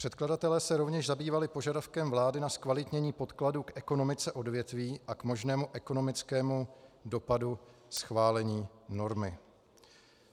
Předkladatelé se rovněž zabývali požadavkem vlády na zkvalitnění podkladu k ekonomice odvětví a k možnému ekonomickému dopadu schválení normy.